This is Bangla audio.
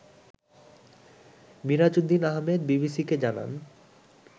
মিরাজউদ্দীন আহমেদ বিবিসিকে জানান